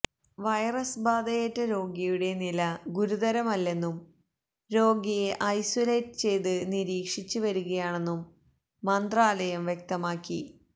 virus ബാധയേറ്റ രോഗിയുടെ നില ഗുരുതരമല്ലെന്നും രോഗിയെ ഐസോലേറ്റ് ചെയ്ത് നിരീക്ഷിച്ച് വരികയാണന്നും മന്ത്രാലയം വ്യക്തമാക്കി